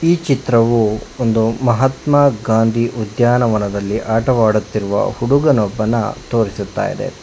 ಈ ಚಿತ್ರವು ಒಂದು ಮಹಾತ್ಮಾಗಾಂಧಿ ಉದ್ಯಾನವನದಲ್ಲಿ ಆಟವಾಡುತ್ತಿರುವ ಹುಡಗನೊಬ್ಬನ ತೋರಿಸುತ್ತಾ ಇದೆ.